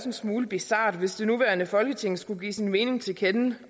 en smule bizart hvis det nuværende folketing skulle give sin mening til kende